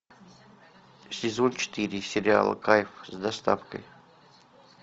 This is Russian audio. сезон четыре сериала кайф с доставкой